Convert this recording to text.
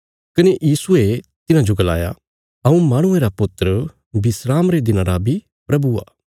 कने यीशुये तिन्हाजो गलाया हऊँ माहणुये रा पुत्र विस्राम रे दिना रा बी प्रभु आ